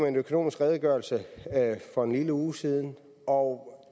en økonomisk redegørelse for en lille uge siden og